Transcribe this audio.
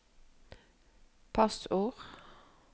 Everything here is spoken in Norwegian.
passord